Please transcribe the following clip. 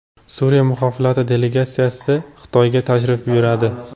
Suriya muxolifati delegatsiyasi Xitoyga tashrif buyuradi.